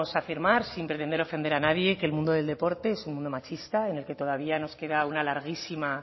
afirmar sin pretender ofender a nadie que el mundo del deporte es un mundo machista en el que todavía nos queda una larguísima